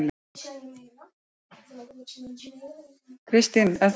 Kristín: Er það?